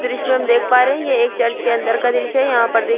दृश्य में हम देख पा रहे है ये एक चर्च के अंदर का दृश्य है यहाँ पर देख--